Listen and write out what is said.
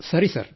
ಸರಿ ಸರ್